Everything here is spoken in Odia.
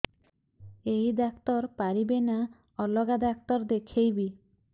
ଏଇ ଡ଼ାକ୍ତର ପାରିବେ ନା ଅଲଗା ଡ଼ାକ୍ତର ଦେଖେଇବି